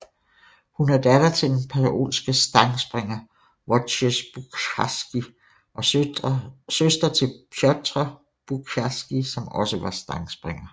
Hun er datter til den polske stangspringer Wojciech Buciarski og søster til Piotr Buciarski som også var stangspringer